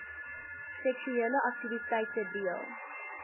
seksuele aktiwiteite deel